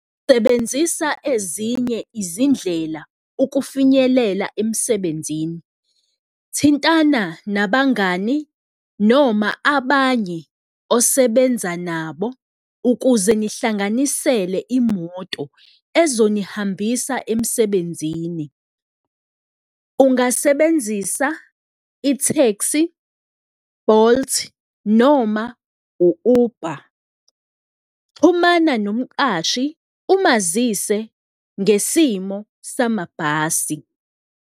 Sebenzisa ezinye izindlela ukufinyelela emsebenzini, thintana nabangani noma abanye osebenza nabo ukuze nihlanganisele imoto ezonihambisa emsebenzini. Ungasebenzisa i-taxi, Bolt noma u-Uber, xhumana nomqashi umazise ngesimo samabhasi.